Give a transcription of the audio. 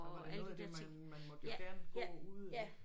Det var da noget af det man man måtte jo gerne gå ude ik